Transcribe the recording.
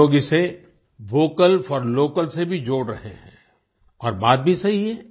कई लोग इसे वोकल फोर लोकल से भी जोड़ रहे हैं और बात भी सही है